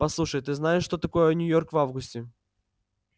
послушай ты знаешь что такое нью-йорк в августе